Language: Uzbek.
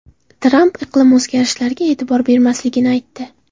Tramp iqlim o‘zgarishlariga e’tibor bermasligini aytdi.